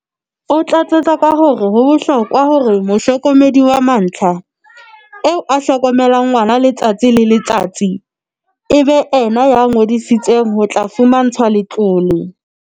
O tlatsetsa ka hore ho bohlokwa hore mohlokomedi wa mantlha, eo a hlokomelang ngwana letsatsi le letsatsi, e be yena ya ngodisetsweng ho tla fumantshwa letlole.